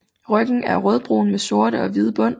Ryggen er rødbrun med sorte og hvide bånd